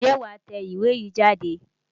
Ǹjẹ́ wàá tẹ ìwé yìí jáde?